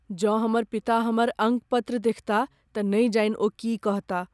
जँ हमर पिता हमर अंकपत्र देखताह तँ नहि जानि ओ की कहताह।